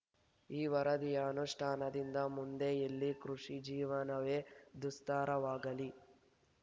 ಈ ವರದಿಯ ಅನುಷ್ಠಾನದಿಂದ ಮುಂದೆ ಇಲ್ಲಿ ಕೃಷಿ ಜೀವನವೇ ದುಸ್ತರವಾಗಲಿ